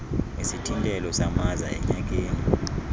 isithintelo samaza enyakeni